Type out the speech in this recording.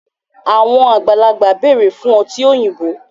Àwọn alàgbà bẹrẹ fún ọtí òyìnbó.